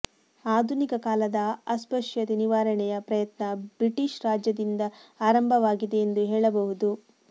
ಆಧುನಿಕ ಕಾಲದ ಅಸ್ಪಶ್ಯತೆ ನಿವಾರಣೆಯ ಪ್ರಯತ್ನ ಬ್ರಿಟಿಷ್ ರಾಜ್ಯದಿಂದ ಆರಂಭವಾಗಿದೆ ಎಂದು ಹೇಳಬಹುದು